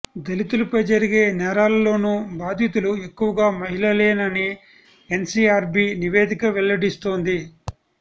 దళితులపై జరిగే నేరాల్లోనూ బాధితులు ఎక్కువగా మహిళలేనని ఎన్సీఆర్బీ నివేదిక వెల్లడిస్తోంది